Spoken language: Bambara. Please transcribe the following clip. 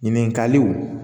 Ɲininkaliw